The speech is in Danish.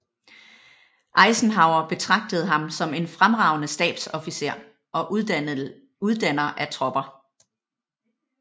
Eisenhower betragtede ham som en fremragende stabsofficer og uddanner af tropper